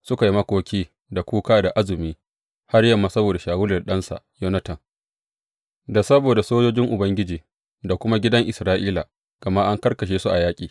Suka yi makoki, da kuka, da azumi har yamma saboda Shawulu da ɗansa Yonatan, da saboda sojojin Ubangiji, da kuma gidan Isra’ila, gama an karkashe su a yaƙi.